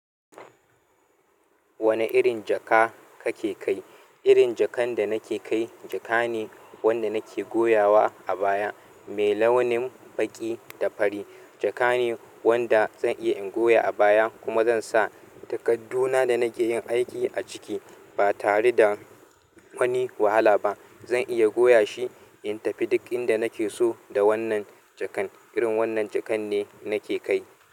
Wane irin jaka kake kai? Irin jakan da nake kai jaka ne wanda nake goyawa a baya, mai launin baƙi da fari. Jaka ne wanda zan iya in goya a baya kuma zan sa takadduna da nake yin aiki a ciki ba tare da wani wahala ba. Zan iya goya shi in tafi duk inda nake so da wannan jakan. Irin wannan jakan ne nake kai.